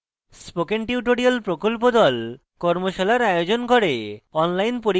spoken tutorial প্রকল্প the কর্মশালার আয়োজন করে